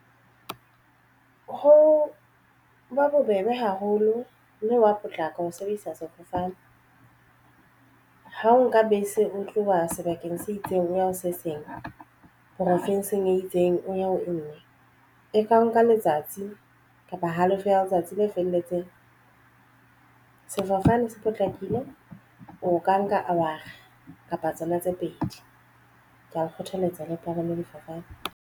Ho ba bobebe haholo mme wa potlaka ho sebedisa sefofane. Ha o nka bese o tloha sebakeng se itseng o ya ho se seng profinsing e itseng. O ya ho e nngwe e ka o nka letsatsi kapa halofo ya letsatsi le felletseng sefofane se potlakile o ka nka hour-a kapa tsona tse pedi ke o kgothaletsa le palame sefofane.